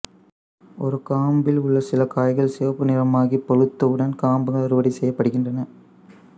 ஒரு காம்பில் உள்ள சில காய்கள் சிவப்பு நிறமாகிப் பழுத்தவுடன் காம்புகள் அறுவடை செய்யப்படுகின்றன